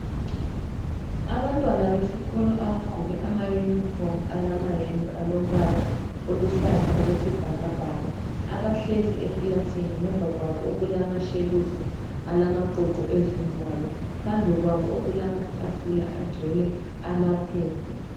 Abantwana besikolo abagqoke ama uniform alamayembe alombala oluhlaza okwesibhakabhaka, abahlezi ekilasini ngemva kwabo okulama shelufu alama qoqo ezingwalo. Phambi kwabo okulamatafula agcwele amaphepha.